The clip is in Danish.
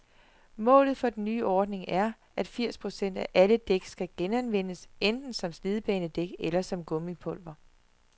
Målet for den nye ordning er, at firs procent af alle dæk skal genanvendes, enten som slidbanedæk eller som gummipulver.